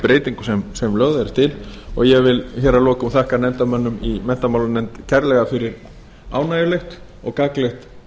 breytingu sem lögð er til og ég vil hér að lokum þakka nefndarmönnum í menntamálanefnd kærlega fyrir ánægjulegt og gagnlegt